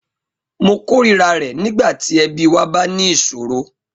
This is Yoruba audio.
Mo kórìíra rẹ̀ nígbà tí ẹbí wa bá ní ìṣòro.